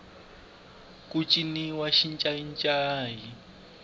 ku ciniwa xincayincayi